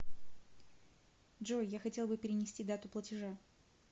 джой я хотел бы перенести дату платежа